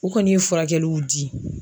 U kɔni ye furakɛliw di.